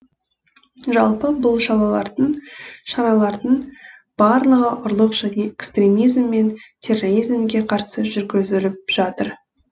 жалпы бұл шаралардың барлығы ұрлық және экстремизм мен терроризмге қарсы жүргізіліп жатыр